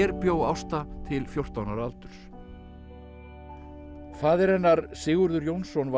bjó Ásta til fjórtán ára aldurs faðir hennar Sigurður Jónsson var